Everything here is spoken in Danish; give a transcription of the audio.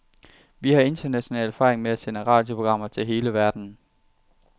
Vi har international erfaring med at sende radioprogrammer til hele verden.